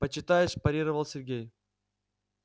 почитаешь парировал сергей